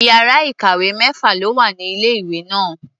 Iyàrá ìkàwé mẹ́fà ló wà ní ilé-ìwé náà.